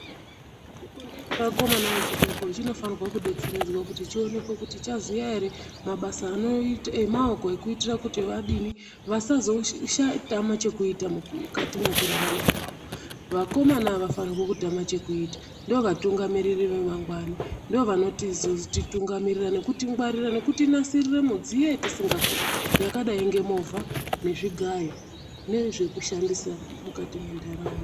Chikondla chevakomana vechidoko chinofanira kudetseredzwa kuti chionekwe kuti chaziya ere mabasa emaoko ekuitira kuti vasazotama chekuita mukati mwekurarama kwawo, vakomana avafane kutame chekuita ndovatungamiriri vemangwanai ndovanotitungamirira nekutingwarira nekutinasirire midziyo yatisingakoni yakadai ngemovha nezvigayo nezvekushandisa mukati mwenharaunda.